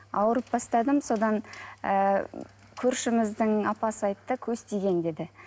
ауырып бастадым содан ыыы көршіміздің апасы айтты көз тиген деді